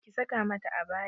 Ki sa ka mata abaya!